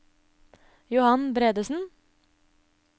Johan Bredesen